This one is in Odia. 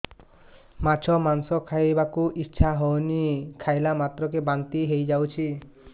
ମାଛ ମାଂସ ଖାଇ ବାକୁ ଇଚ୍ଛା ହଉଛି ଖାଇଲା ମାତ୍ରକେ ବାନ୍ତି ହେଇଯାଉଛି